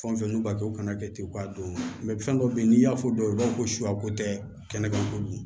Fɛn fɛn n'u b'a kɛ u kana kɛ ten u k'a don fɛn dɔ bɛ yen n'i y'a fɔ dɔw ye u b'a fɔ ko suya ko tɛ kɛnɛma ko